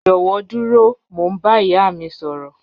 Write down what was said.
Jọwọ duro, Mo n ba iya mi sọrọ